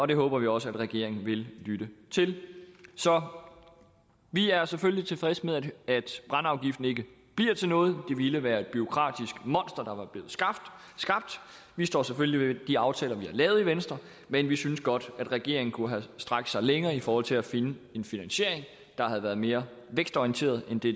det håber vi også at regeringen vil lytte til så vi er selvfølgelig tilfredse med at brændeafgiften ikke bliver til noget det ville være et bureaukratisk monster der var blevet skabt vi står selvfølgelig ved de aftaler vi har lavet i venstre men vi synes godt regeringen kunne have strakt sig længere i forhold til at finde en finansiering der havde været mere vækstorienteret end det